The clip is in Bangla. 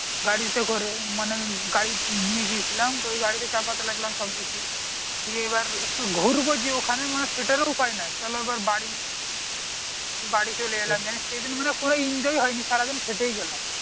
গাড়ি তে করে মানে গাড়ি নিয়ে গিয়েছিলাম তো ওই গাড়ি তে চাপাতে লাগলাম সব কিছু দিয়ে এইবার একটু ঘুরবো যে ওখানে মানে সেটারও উপায় নেই চলো এইবার বাড়ী দিয়ে বাড়ী চলে এলাম জানিস সেই দিন মানে কোনো enjoy ই হয় নি সারা দিন খেটেই গেলাম